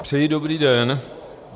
Přeji dobrý den.